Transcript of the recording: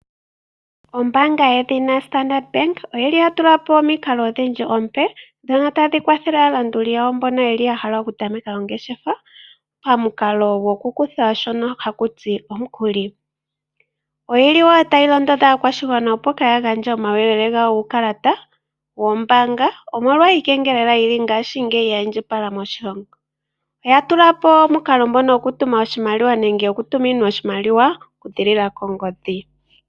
Ombaanga yedhina Standard Bank oyili yatulapo omikalo odhindji omipe ndhono tadhi kwathele aalanduli yawo mbono yeli yahala okutameka ongeshefa pamukalo gokukutha shono hashi ithanwa omukuli. Oyili wo tayi londodha aakwashigwana opo kaaya gandje omauyelele gawo guukalata wombaanga, omolwa iikengelela yili ngaashingeyi ya indjipala moshilongo. Oya tulapo omukalo ngono okutuma iimaliwa nenge okutuminwa oshimaliwa okuziilila kongodhi.